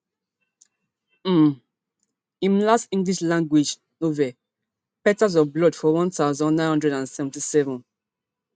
um im last english language novel petals of blood for one thousand, nine hundred and seventy-seven